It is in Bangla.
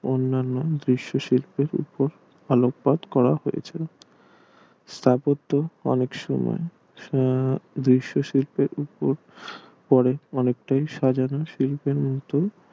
অন্যান্য দৃশ্য শিল্পের ওপর আলোকপাত করা হয়েছিল স্থাপত্য অনেক সময় বিশ্ব শিল্পের ওপর অনেক মুহূর্তের সাজানো শিল্প